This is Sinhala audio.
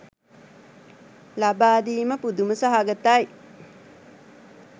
ලබාදීම පුදුම සහගතයි.